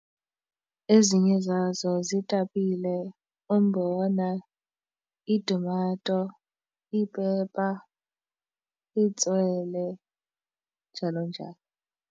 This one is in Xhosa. Ezinye zazo ziitapile, umbona, iitumato, iipepa, itswele njalo njalo.